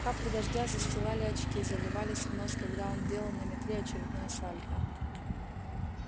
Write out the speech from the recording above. капли дождя застилали очки заливались в нос когда он делал на метле очередное сальто